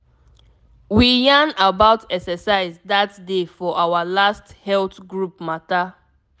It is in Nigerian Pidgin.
we yarn about exercise that day for our last health group matter.